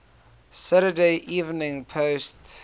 saturday evening post